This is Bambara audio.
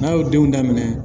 N'a y'o denw daminɛ